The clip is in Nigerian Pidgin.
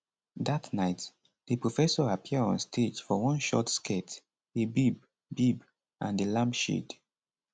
dat night di professor appear on stage for one short skirt a bib bib and di lampshade